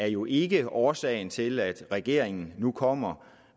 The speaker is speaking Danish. jo ikke er årsagen til at regeringen nu kommer